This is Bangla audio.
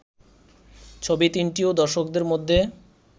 ছবি তিনটিও দর্শকদের মধ্যে